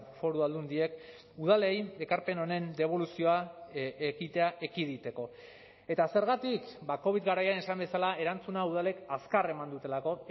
foru aldundiek udalei ekarpen honen deboluzioa ekitea ekiditeko eta zergatik ba covid garaian esan bezala erantzun hau udalek azkar eman dutelako